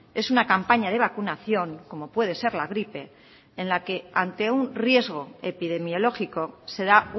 es una campaña de vacunación como puede ser la gripe en la que ante un riesgo epidemiológico se da